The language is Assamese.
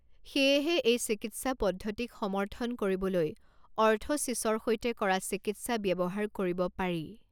সেয়েহে এই চিকিৎসা পদ্ধতিক সমৰ্থন কৰিবলৈ অৰ্থ'ছিছৰ সৈতে কৰা চিকিৎসা ব্যৱহাৰ কৰিব পাৰি।